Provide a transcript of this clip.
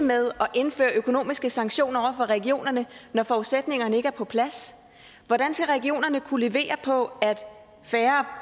med at indføre økonomiske sanktioner over for regionerne når forudsætningerne ikke er på plads hvordan skal regionerne kunne levere på færre